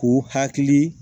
K'u hakili